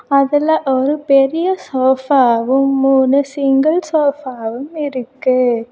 அதுல ஒரு பெரிய சோஃபாவும் மூணு சிங்கிள் சோஃபாவும் இருக்கு.